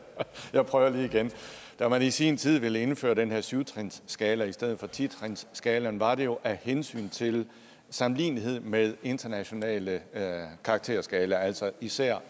jeg prøver lige igen da man i sin tid ville indføre den her syv trinsskala i stedet for ti trinsskalaen var det jo af hensyn til sammenligneligheden med internationale karakterskalaer altså især